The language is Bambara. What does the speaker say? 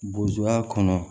Bozuya kɔnɔ